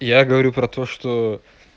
я говорю про то что